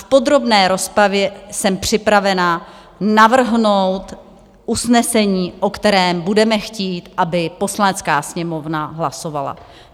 V podrobné rozpravě jsem připravena navrhnout usnesení, o kterém budeme chtít, aby Poslanecká sněmovna hlasovala.